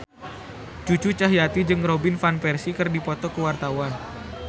Cucu Cahyati jeung Robin Van Persie keur dipoto ku wartawan